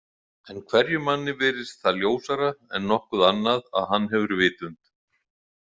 En hverjum manni virðist það ljósara en nokkuð annað að hann hefur vitund.